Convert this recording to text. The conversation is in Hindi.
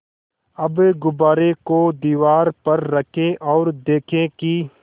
अब गुब्बारे को दीवार पर रखें ओर देखें कि